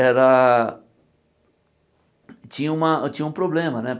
Era... Tinha uma tinha um problema, né?